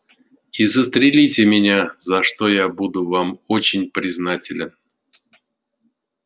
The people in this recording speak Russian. и застрелите меня за что я буду вам очень признателен